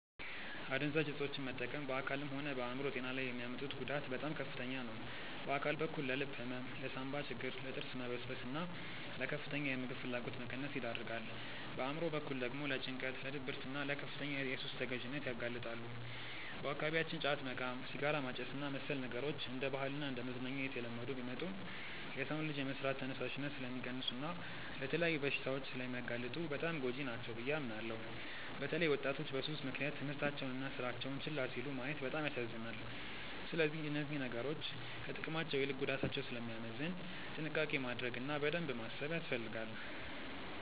አደንዛዥ እፆችን መጠቀም በአካልም ሆነ በአእምሮ ጤና ላይ የሚያመጡት ጉዳት በጣም ከፍተኛ ነው። በአካል በኩል ለልብ ህመም፣ ለሳንባ ችግር፣ ለጥርስ መበስበስና ለከፍተኛ የምግብ ፍላጎት መቀነስ ይዳርጋል። በአእምሮ በኩል ደግሞ ለጭንቀት፣ ለድብርትና ለከፍተኛ የሱስ ተገዢነት ያጋልጣሉ። በአካባቢያችን ጫት መቃም፣ ሲጋራ ማጨስና መሰል ነገሮች እንደ ባህልና እንደ መዝናኛ እየተለመዱ ቢመጡም፣ የሰውን ልጅ የመስራት ተነሳሽነት ስለሚቀንሱና ለተለያዩ በሽታዎች ስለሚያጋልጡ በጣም ጎጂ ናቸው ብዬ አምናለሁ። በተለይ ወጣቶች በሱስ ምክንያት ትምህርታቸውንና ስራቸውን ችላ ሲሉ ማየት በጣም ያሳዝናል። ስለዚህ እነዚህ ነገሮች ከጥቅማቸው ይልቅ ጉዳታቸው ስለሚያመዝን ጥንቃቄ ማድረግ እና በደንብ ማሰብ ያስፈልጋል።